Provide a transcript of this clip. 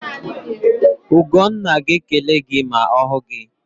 Ugonna ga-ekele gị ma ọ hụ gị.